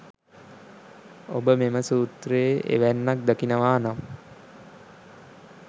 ඔබ මෙම සූත්‍රයේ එවැන්නක් දකිනවා නම්